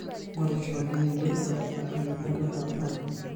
ingorisho oleng iloito pemibatata ake.